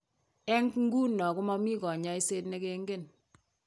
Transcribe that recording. Eng' ng'uno ko mami kanyoiset ne king'en.